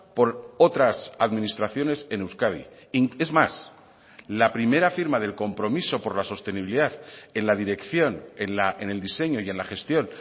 por otras administraciones en euskadi es más la primera firma del compromiso por la sostenibilidad en la dirección en el diseño y en la gestión